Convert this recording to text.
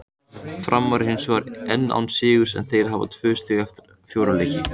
Framarar eru hinsvegar enn án sigurs en þeir hafa tvö stig eftir fjóra leiki.